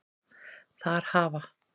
Þar hafa